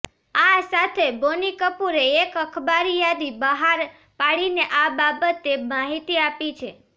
આ સાથે બોની કપૂરે એક અખબારી યાદી બહાર પાડીને આ બાબતે માહિતી આપી છે